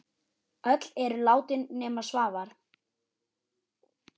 Öll eru látin nema Svavar.